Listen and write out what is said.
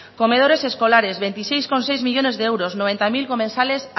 comedores escolares veintiséis coma seis millónes de euros noventa mil comensales